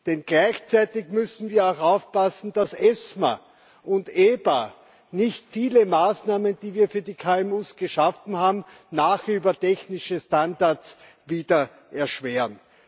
Denn gleichzeitig müssen wir auch aufpassen, dass ESMA und EBA nicht viele Maßnahmen, die wir für die KMU geschaffen haben, nachher über technische Standards wieder erschweren.